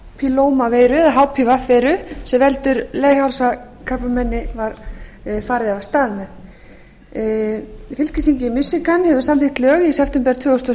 var af stað með bólusetningu gegn papílómaveiru eða hpv veiru sem veldur leghálskrabbameini fylkisþingið í michigan hefur samþykkt lög í september tvö þúsund og